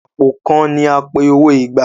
àpò kán ní apẹ owó ìgbà